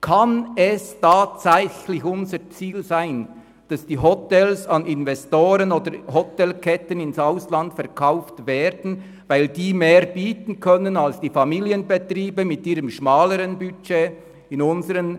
Kann es tatsächlich unser Ziel sein, dass die Hotels an Investoren oder Hotelketten ins Ausland verkauft werden, weil diese mehr bieten können als die Familienbetriebe in unseren Regionen mit ihren schmaleren Budgets?